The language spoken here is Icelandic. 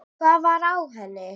Hvað var á henni?